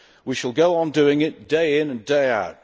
We shall go on doing it, day in and day out.